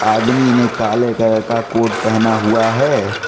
आदमी ने काले कलर का कोट पहना हुआ है।